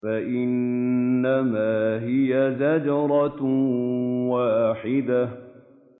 فَإِنَّمَا هِيَ زَجْرَةٌ وَاحِدَةٌ